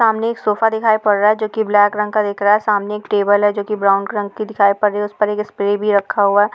सामने एक सोफा दिखाई पड़ रहा है जो कि ब्लैक रंग का दिख रहा है। सामने एक टेबल है जो कि ब्राउन रंग की दिखाई पड़ रही है। उस पर एक स्प्रे भी रखा हुआ है।